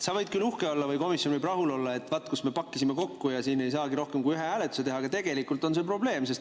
Sa võid küll uhke olla või komisjon võib rahul olla, et vaat, kus me pakkisime kokku, siin ei saagi rohkem kui ühe hääletuse teha, aga tegelikult on see probleem.